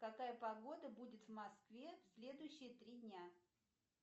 какая погода будет в москве следующие три дня